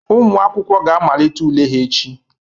Ụmụ akwụkwọ ga-amalite ule ha echi.